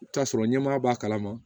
I bi t'a sɔrɔ ɲɛmaa b'a kalama